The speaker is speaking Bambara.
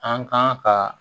An kan ka